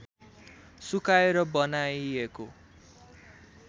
सुकाएर बनाइएको